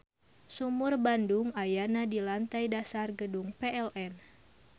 Sumur Bandung ayana di lantei dasar Gedung PLN.